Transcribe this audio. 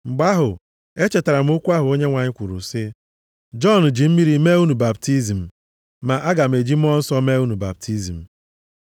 Mgbe ahụ, echetara m okwu ahụ Onyenwe anyị kwuru sị, ‘Jọn ji mmiri mee unu baptizim, ma a ga-eji Mmụọ Nsọ mee unu baptizim.’